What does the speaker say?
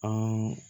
An